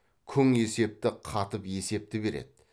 күң есепті қатып есепті береді